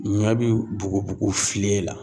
Ɲɔɛ bi bugubugu filen la.